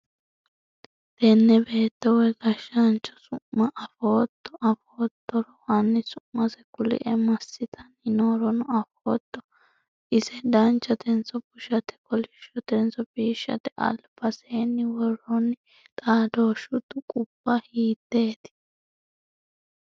tenne beetto woy gashshaancho su'ma afootto? afoottoro hanni su'mase kuli'e? massitanni noorono afootto? ise danchatenso busshate? kolishshotenso biishshate? albaseenni woronni xaadooshshu tuqubba hiiteeti?